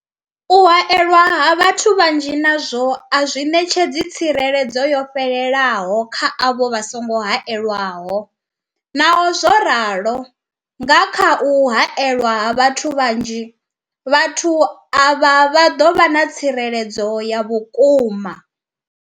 U haelwa ha vhathu vhanzhi nazwo a zwi ṋetshedzi tsireledzo yo fhelelaho kha avho vha songo haelwaho, Naho zwo ralo, nga kha u haelwa ha vhathu vhanzhi, vhathu avha vha ḓo vha na tsireledzo ya vhukuma.